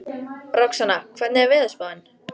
Roxanna, hvernig er veðurspáin?